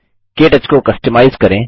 के टच को कस्टमाइज करें